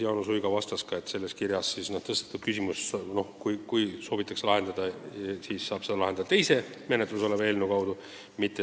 Jaanus Uiga vastas, et kui selles kirjas tõstatatud küsimus soovitakse lahendada, siis saab seda lahendada, muutes teist menetluses olevat eelnõu.